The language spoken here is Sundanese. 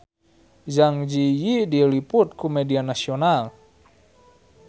Zang Zi Yi diliput ku media nasional